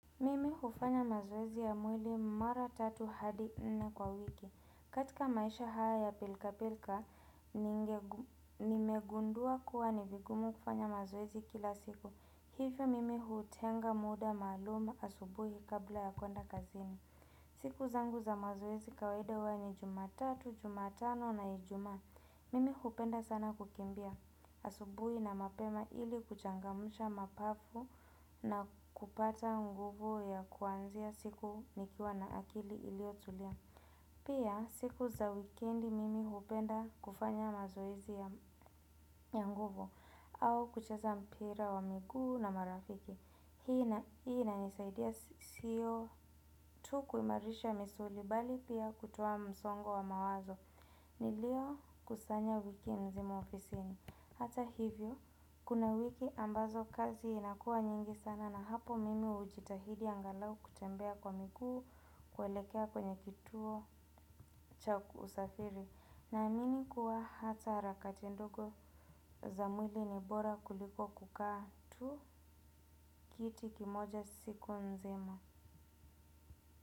Mimi hufanya mazoezi ya mwili mara tatu hadi nne kwa wiki. Katika maisha haya ya pilkapilka, nimegundua kuwa ni vigumu kufanya mazowezi kila siku. Hifio mimi hutenga muda maluma asubuhi kabla ya kuenda kazini. Siku zangu za mazowezi kawaida huwa ni jumatatu, jumatano na ijuma. Mimi hupenda sana kukimbia asubuhi na mapema ili kuchangamusha mapafu na kupata nguvu ya kuanzia siku nikiwa na akili ilio tulia. Pia siku za weekendi mimi hupenda kufanya mazoezi ya nguvu. Au kuchaza mpira wa migu na marafiki. Hii inanisaidia siyo tu kuimarisha misuli bali pia kutowa msongo wa mawazo. Nilio kusanya wiki nzima ofisini. Hata hivyo, kuna wiki ambazo kazi inakua nyingi sana na hapo mimi ujitahidi angalau kutembea kwa mikuu kwelekea kwenye kituo cha usafiri. Na amini kuwa hata harakati ndogo za mwili ni bora kuliko kukaa tu kiti kimoja siku nzima.